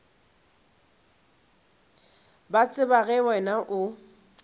ba tseba ge wena o